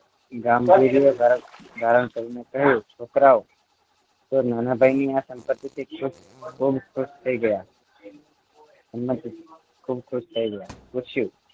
ગામ ભેજુએ ધારણ કરીને કહ્યું છોકરાઓ નાના ભાઈની આ સંમતિથી બહુ ખુશ થઈ ગયા સંમતિ ખૂબ ખુશ થઈ ગયા પૂછ્યું